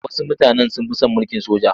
Wasu mutanen sun fi son mulkin soja.